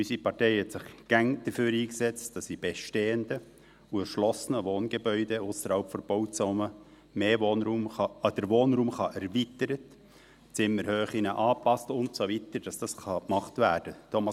: Unsere Partei hat sich immer dafür eingesetzt, dass man in bestehenden und erschlossenen Wohngebäuden ausserhalb der Bauzone den Wohnraum erweitern, Zimmerhöhen anpassen kann und so weiter, dass das gemacht werden kann.